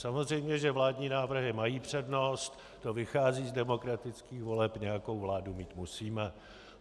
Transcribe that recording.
Samozřejmě, že vládní návrhy mají přednost, to vychází z demokratických voleb, nějakou vládu mít musíme.